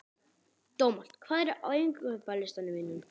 Dómald, hvað er á innkaupalistanum mínum?